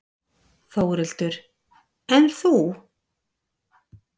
Þórhildur: En þú?